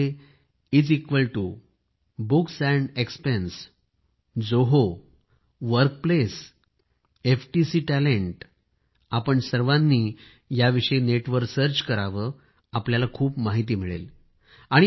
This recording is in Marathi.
यामध्ये is equal to books and expense Zoho workplace FTC talent आपण सर्वांनी याविषयी नेटवर सर्च करावे तुम्हांला खूप माहिती मिळेल